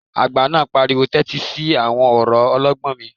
Àgbà náà pariwo 'tẹ́tí sí àwọn ọ̀rọ̀ ọlọ́gbọ́n mi'